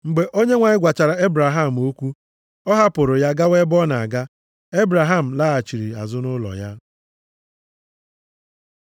Mgbe Onyenwe anyị gwachara Ebraham okwu, ọ hapụrụ ya gawa ebe ọ na-aga. Ebraham laghachiri azụ nʼụlọ ya.